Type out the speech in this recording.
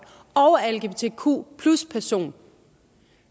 og er lgbtq personer